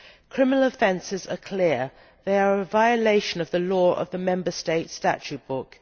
Criminal offences are clear they are a violation of the law of the Member States' statute book.